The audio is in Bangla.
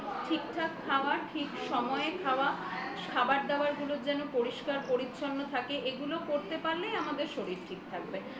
ঠিকঠাক খাওয়া ঠিক সময় খাওয়া খাবারদাবার গুলো যেন পরিষ্কার পরিচ্ছন্ন থাকে এগুলো করতে পারলেই আমাদের শরীর ঠিক থাকবে